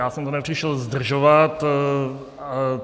Já jsem to nepřišel zdržovat.